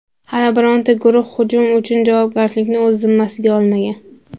Hali bironta guruh hujum uchun javobgarlikni o‘z zimmasiga olmagan.